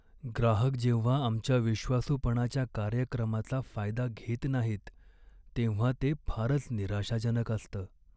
ग्राहक जेव्हा आमच्या विश्वासूपणाच्या कार्यक्रमाचा फायदा घेत नाहीत तेव्हा ते फारच निराशाजनक असतं.